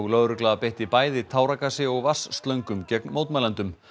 lögregla beitti bæði táragasi og gegn mótmælendum